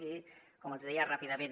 i com els hi deia ràpidament